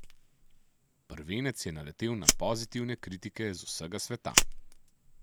Prvenec je naletel na pozitivne kritike z vsega sveta.